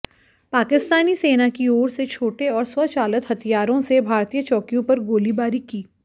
पाकिस्तानी सेना की ओर से छोटे और स्वचालित हथियारों से भारतीय चौकियों पर गोलीबारी की